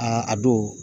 a don